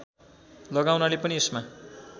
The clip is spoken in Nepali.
लगाउनाले पनि यसमा